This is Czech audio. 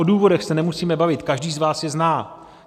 O důvodech se nemusíme bavit, každý z vás je zná.